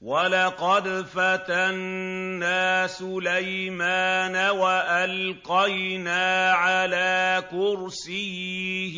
وَلَقَدْ فَتَنَّا سُلَيْمَانَ وَأَلْقَيْنَا عَلَىٰ كُرْسِيِّهِ